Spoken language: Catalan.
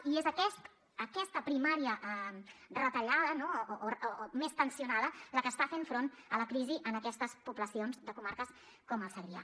i és aquesta primària retallada o més tensionada la que està fent front a la crisi en aquestes poblacions de comarques com el segrià